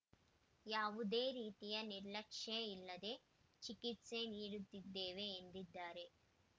ಯಾವುದೇ ರೀತಿಯ ನಿರ್ಲಕ್ಷ್ಯ ಇಲ್ಲದೇ ಚಿಕಿತ್ಸೆ ನೀಡುತ್ತಿದ್ದೇವೆ ಎಂದಿದ್ದಾರೆ